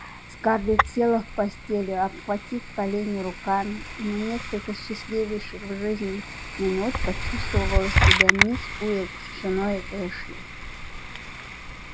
скарлетт села в постели обхватив колени руками и на несколько счастливейших в жизни минут почувствовала себя мисс уилкс женой эшли